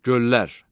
Göllər.